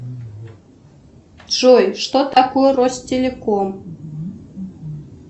джой что такое ростелеком